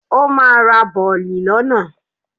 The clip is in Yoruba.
Ó ma ra bọ̀lì lọ́nà.